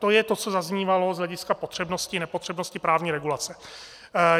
To je to, co zaznívalo z hlediska potřebnosti nepotřebnosti právní regulace.